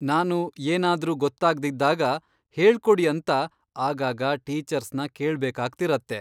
ನಾನು ಏನಾದ್ರೂ ಗೊತ್ತಾಗ್ದಿದ್ದಾಗ ಹೇಳ್ಕೊಡಿ ಅಂತ ಆಗಾಗ ಟೀಚರ್ಸ್ನ ಕೇಳ್ಬೇಕಾಗ್ತಿರತ್ತೆ.